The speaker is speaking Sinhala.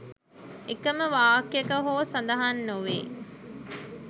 එකම වාක්‍යයක හෝ සඳහන් නොවේ